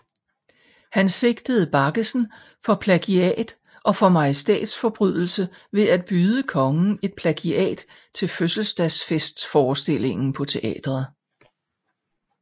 Han sigtede Baggesen for plagiat og for majestætsforbrydelse ved at byde kongen et plagiat til fødselsdagsfestforestillingen på teatret